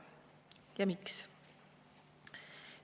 Ja miks?